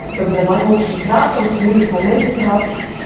We hebben er lang over gepraat, soms moeilijke momenten gehad.